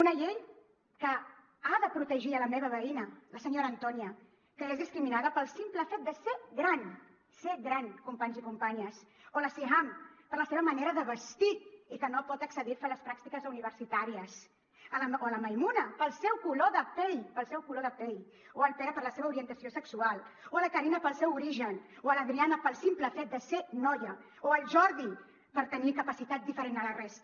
una llei que ha de protegir la meva veïna la senyora antonia que és discriminada pel simple fet de ser gran ser gran companys i companyes o la siham per la seva manera de vestir i que no pot accedir a fer les pràctiques universitàries o la maimuna pel seu color de pell pel seu color de pell o el pere per la seva orientació sexual o la karina pel seu origen o l’adriana pel simple fet de ser noia o el jordi perquè té capacitat diferent a la resta